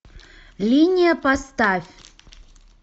линия поставь